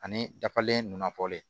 Ani dafalen nn fɔlen